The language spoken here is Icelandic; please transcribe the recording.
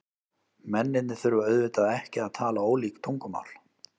Mennirnir þurfa auðvitað ekki að tala ólík tungumál.